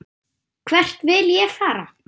Hvert vil ég fara?